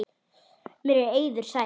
Mér er eiður sær.